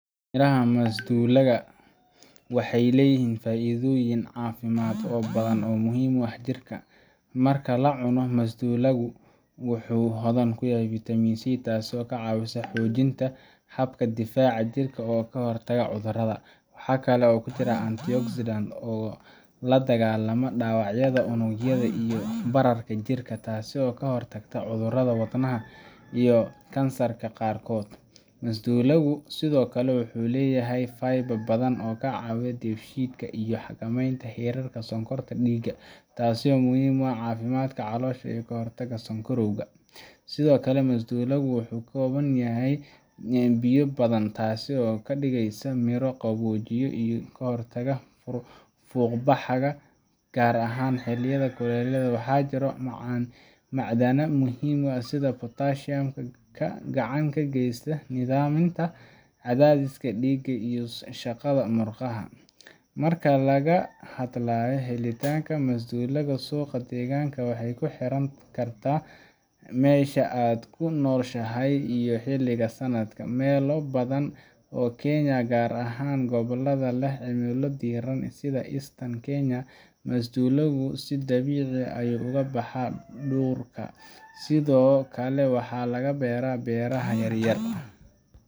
Miraha masdulaagi waxeey leeyihiin faidoyin cafimaad oo badan oo muhiim u ah jirka, marka lacuno masdulaagi wuxuu hodan ku yahay vitamin c taas oo kacawiso xojinta habka difaaca jirka oo kahor tago cudurada, waxaa kale oo kujira antioxidant oo ladagaala dawacyada, unugyada iyo bararka jirka, taas oo kahor tagto cudurada wadnaha iyo kansarka qaarkood, masdulaagi sido kale wuxuu leyahay fibre badan oo kacawiya deef shiidka iyo xakameenta herarka sokorta diiga, taasi oo muhiim u ah cafimaadka caloosha iyo kahor taga sokorowga, sido kale masdulaagi wuxuu ka koban yahay biya badan taasi oo kadigeysa mira qaboojiya iyo kahor taga fuuq baxaga, gaar ahaan xiliyada kuleelaha, waxaa jira macdana muhiim ah sida potassium gacan ka geesta nidaaminta cadaadiska diiga iyo murqaha, marka laga hadlaayo helitaanka masdulaagi suuqa deeganka waxeey kuxiran kartaa meesha aad kunoshahay iyo xiliga sanadka, meela badan oo kenya gaar ahaan gobolada leh cimilada diiran, masdulaagi si dabiici ah ugu baxaa, sido kale waxaa laga beera beeraha yaryar.